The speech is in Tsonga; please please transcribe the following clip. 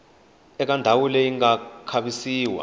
eka ndhawu leyi nga khavisiwa